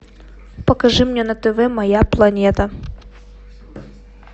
покажи мне на тв моя планета